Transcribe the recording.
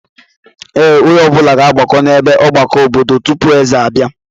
Ee, onye ọbụla ga-agbakọ n'ebe ọgbakọ obodo tupu eze abịa.